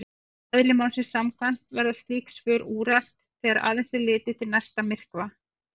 Eðli málsins samkvæmt verða slík svör úrelt þegar aðeins er litið til næsta myrkva.